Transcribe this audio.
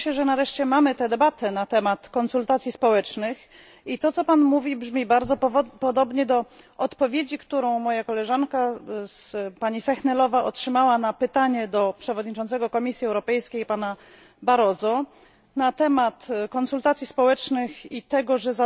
Cieszę się, że nareszcie doszło do tej debaty na temat konsultacji społecznych i to, co Pan mówi, brzmi bardzo podobnie do odpowiedzi, którą moja koleżanka pani Sehnalová otrzymała na pytanie do przewodniczącego Komisji Europejskiej pana Barroso na temat konsultacji społecznych i tego, że